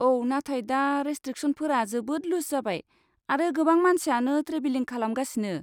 औ, नाथाय दा रेस्ट्रिकसनफोरा जोबोद लुज जाबाय आरो गोबां मानसियानो ट्रेभेलिं खालामगासिनो।